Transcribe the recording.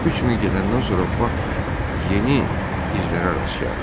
Üç mil gedəndən sonra Bak yeni izlərə rast gəldi.